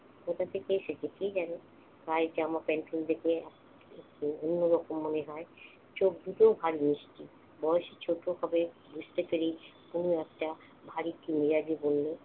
কোথা থেকে এসেছে কে জানে। গায়ে জামা প্যান্ট খুলতে গিয়ে একটু অন্যরকম মনে হয়। চোখ দুটোও ভারী মিষ্টি। বয়স চৌদ্দ হবে বুঝতে পেরেই তনু একটা ভারিক্কি মেজাজে বলল,